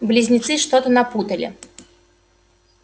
близнецы что-то напутали